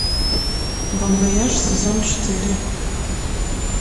бон вояж сезон четыре